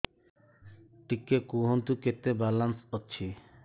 ଟିକେ କୁହନ୍ତୁ କେତେ ବାଲାନ୍ସ ଅଛି